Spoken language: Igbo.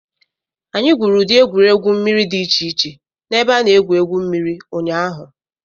Anyị gwuru ụdị egwuregwu mmiri dị iche iche na ebe a na-egwu egwu mmiri ụnyaahụ.